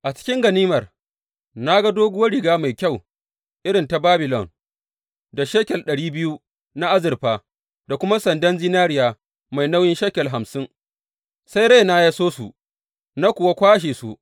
A cikin ganimar, na ga doguwar riga mai kyau irin ta Babilon, da shekel ɗari biyu na azurfa, da kuma sandan zinariya mai nauyin shekel hamsin, sai raina ya so su, na kuwa kwashe su.